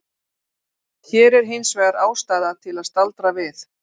Hér er hins vegar ástæða til að staldra við.